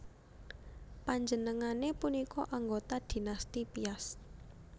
Panjenengané punika anggota Dinasti Piast